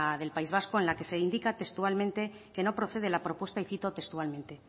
del país vasco en la que se indica textualmente que no procede la propuesta y cito textualmente